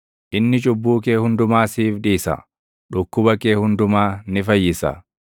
Inni cubbuu kee hundumaa siif dhiisa; dhukkuba kee hundumaa ni fayyisa;